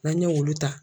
N'an ye olu ta